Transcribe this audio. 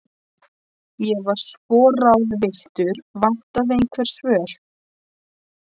Ég var svo ráðvilltur, vantaði einhver svör.